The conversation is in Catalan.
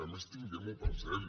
a més tinguem ho present